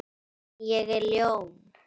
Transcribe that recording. En ég er ljón.